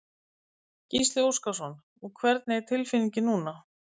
Gísli Óskarsson: Og hvernig er tilfinningin núna?